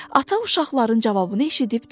Ata uşaqların cavabını eşidib dedi: